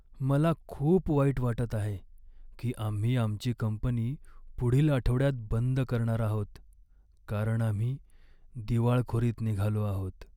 मला खूप वाईट वाटत आहे की आम्ही आमची कंपनी पुढील आठवड्यात बंद करणार आहोत, कारण आम्ही दिवाळखोरीत निघालो आहोत.